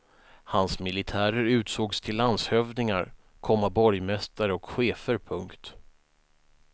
Hans militärer utsågs till landshövdingar, komma borgmästare och chefer. punkt